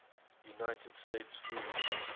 united states food